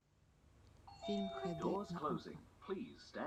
фильм хд на окко